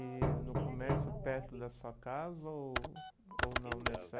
E no comércio perto da sua casa ou ou não